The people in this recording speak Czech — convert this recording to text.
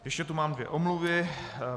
Ještě tu mám dvě omluvy.